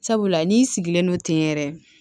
Sabula n'i sigilen no ten yɛrɛ